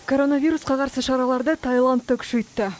коронавирусқа қарсы шараларды таиланд та күшейтті